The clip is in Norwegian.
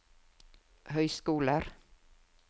høyskoler